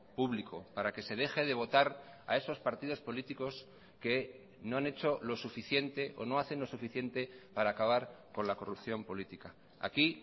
público para que se deje de votara esos partidos políticos que no han hecho lo suficiente o no hacen lo suficiente para acabar con la corrupción política aquí